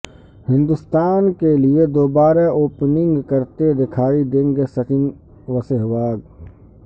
ہندستان کے لئے دوبارہ اوپننگ کرتے دکھائی دیں گے سچن وسہواگ